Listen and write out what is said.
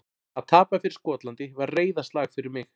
Að tapa fyrir Skotlandi var reiðarslag fyrir mig.